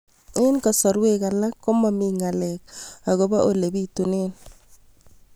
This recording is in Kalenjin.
Eng' kasarwek alak ko mami ng'alek akopo ole pitunee